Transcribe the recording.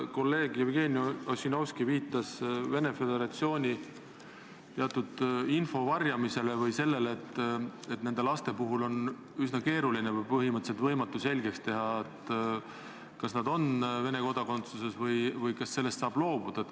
Kolleeg Jevgeni Ossinovski viitas Venemaa Föderatsiooni teatud info varjamisele või sellele, et nende laste puhul on üsna keeruline või põhimõtteliselt võimatu selgeks teha, kas neil on Vene kodakondsus või kas sellest saab loobuda.